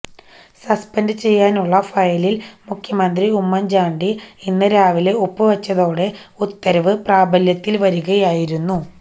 suspend ചെയ്യാനുള്ള ഫയലില് മുഖ്യമന്ത്രി ഉമ്മന്ചാണ്ടി ഇന്ന് രാവിലെ ഒപ്പുവെച്ചതോടെ ഉത്തരവ് പ്രാബല്യത്തില് വരികയായിരുന്നു